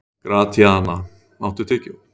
Gratíana, áttu tyggjó?